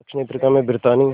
दक्षिण अफ्रीका में ब्रितानी